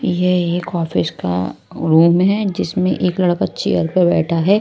यह एक ऑफिस का रूम है जिसमें एक लड़का चेयर पर बैठा है।